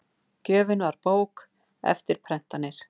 Gjöfin var bók, eftirprentanir